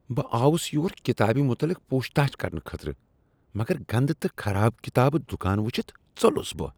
بہٕ آوُس یور کتابِہ مطلق پوچھ تاچھ کرنہٕ خٲطرٕ مگر گندٕ تہٕ خراب کتاب دکان ؤچھتھ ژۄلُس بہٕ۔